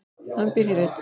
Hann býr hér enn.